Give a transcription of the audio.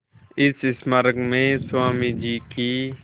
इस स्मारक में स्वामी जी की